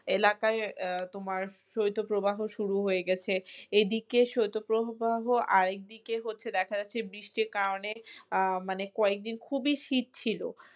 এলাকাই আহ তোমার শৈত প্রবাহ শুরু হয়ে গেছে এই দিকে শৈত প্রবাহ আরেক দিকে হচ্ছে দেখা যাচ্ছে বৃষ্টির কারণে আহ মানে কয়েক দিন খুবই শীত ছিল।